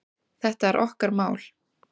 Þetta er okkar mál.